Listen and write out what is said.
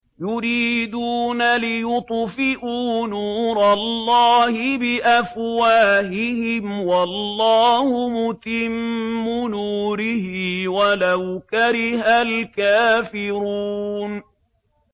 يُرِيدُونَ لِيُطْفِئُوا نُورَ اللَّهِ بِأَفْوَاهِهِمْ وَاللَّهُ مُتِمُّ نُورِهِ وَلَوْ كَرِهَ الْكَافِرُونَ